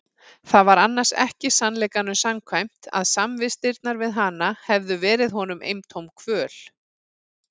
Það var annars ekki sannleikanum samkvæmt að samvistirnar við hana hefðu verið honum eintóm kvöl.